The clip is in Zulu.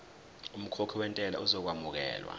umkhokhi wentela uzokwamukelwa